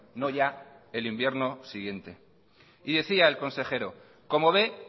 no ya el invierno siguiente y decía el consejero como ve